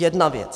Jedna věc.